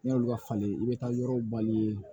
N'i y'olu ka falen i bɛ taa yɔrɔ balilen ye